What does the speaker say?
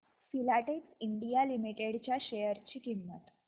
Filatex India limited च्या share ची किंमत